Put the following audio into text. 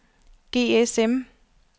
GSM